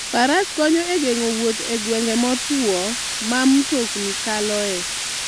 Faras konyo e geng'o wuoth e gwenge motwo ma mtokni kaloe.